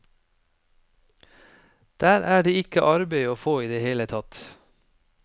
Der er det ikke arbeid å få i det hele tatt.